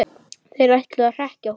Þeir ætluðu að hrekkja okkur